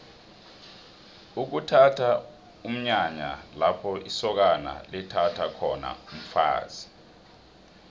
ukuthatha mnyanya lapho isokana lithatha khona umfazi